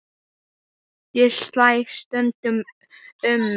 Ég slæ stundum um mig.